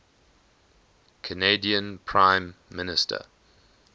canadian prime minister